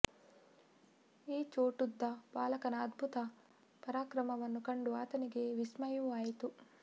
ಈ ಚೋಟುದ್ದ ಬಾಲಕನ ಅದ್ಭುತ ಪರಾಕ್ರಮವನ್ನು ಕಂಡು ಆತನಿಗೆ ವಿಸ್ಮಯವೂ ಆಯಿತು